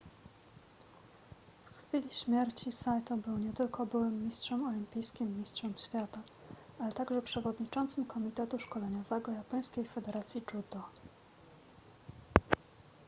w chwili śmierci saito był nie tylko byłym mistrzem olimpijskim i mistrzem świata ale także przewodniczącym komitetu szkoleniowego japońskiej federacji judo